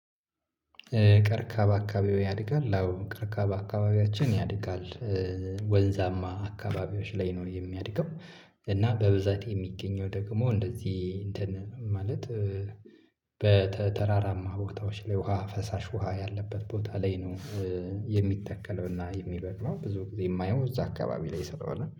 ቀርካ በአካባቢው ያድጋል አዎ ቀርካ በአካባቢያችን ያድጋል። ወንዛማ አካባቢዎች ላይ ነው የሚያድገው። እና በብዛት የሚገኘው ደግሞ እንደዚህ እንትን ማለት በተራራማ ቦታዎች ላይ ውሃ ፈሳሽ ውሃ ያለበት ቦታ ላይ ነው። የሚተከለውና የሚበቅለው ብዙ ጊዜ የማየው እዚያ አካባቢ ላይ ስለሆነ